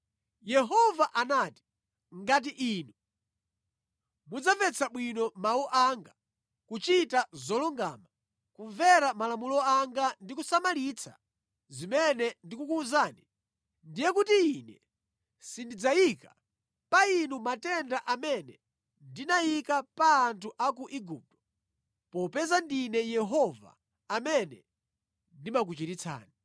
Yehova anati, “Ngati inu mudzamvetsa bwino mawu anga, kuchita zolungama, kumvera malamulo anga ndi kusamalitsa zimene ndikukuwuzani ndiye kuti Ine sindidzayika pa inu matenda amene ndinayika pa anthu a ku Igupto popeza ndine Yehova amene ndimakuchiritsani.”